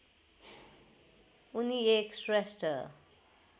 उनी एक श्रेष्ठ